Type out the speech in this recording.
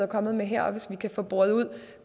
kommet med her og hvis vi kan få boret ud